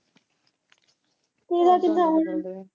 ਤੇਰਾ ਕਿੰਨਾ ਹਜੇ ਵੀ।